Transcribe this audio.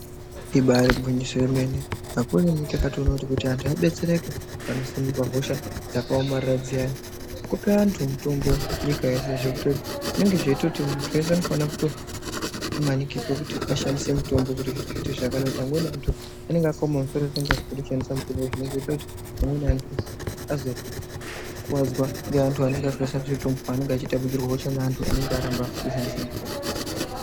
Ibari gwinyiso yemene akurini takatoona kuti vantu vabetsereke panosimuka hosha dzakaomarara dziyani kupa vantu mutombo nyika yeshe kunyangwe zveitozi muntu weshe anofanira kumanikidzwa kuti ashandise mutombo ,ngekuti amweni antu anenge akaoma musoro zvekuti anenge asingadi kushandisa mutombo. Zvinozoita kuti amweni antu azokuwadza ngevantu vanenge vasingadi kushandisa mutombo pavanenge veitapudzirwa hosha ngevantu vanenge varamba kushandisa mutombo.